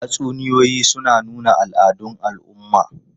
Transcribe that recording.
Tatsuniyoyi suna nuna al'adun al'umma.